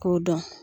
K'o dɔn